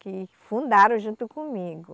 Que fundaram junto comigo.